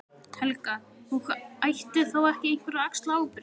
Helga: Og ætti þá ekki einhver að axla ábyrgð?